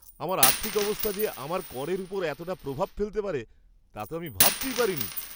আমার আর্থিক অবস্থা যে আমার করের ওপর এতটা প্রভাব ফেলতে পারে তা তো আমি ভাবতেই পারিনি!